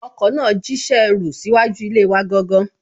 Ọkọ náà jíṣẹ́ ẹrú síwájú ilé wa gangan